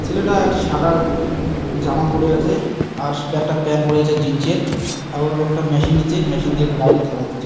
ছেলেটা একটি সাদা জামা পরে আছে | আর একটা প্যান্ট পরে আছে | জিন্স -এর অর একটা মেশিন নিচ্ছে | মেশিন দিয়ে গাড়িটা ঝালাই দিচ্ছে।